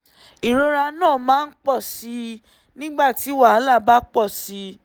ìrora náà máa ń pọ̀ sí i nígbà tí wàhálà bá pọ̀ sí i